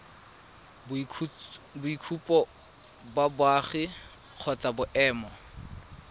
boitshupo ba boagi kgotsa boemo